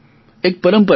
એક પંરપરા છે